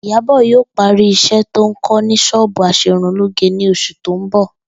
Ìyábò̩ yóò parí is̩é̩ tó ń kó̩ ní s̩ó̩ò̩bù as̩erunlóge ní os̩ù tó ń bò̩